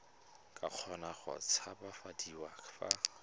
ka kgona go tshabafadiwa fa